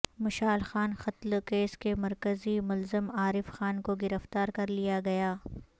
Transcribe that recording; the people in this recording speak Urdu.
مشال خان قتل کیس کے مرکزی ملزم عارف خان کو گرفتار کر لیا گیا